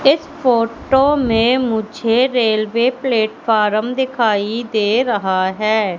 इस फोटो में मुझे रेलवे प्लेटफार्म दिखाई दे रहा है।